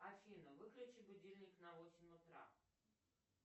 афина выключи будильник на восемь утра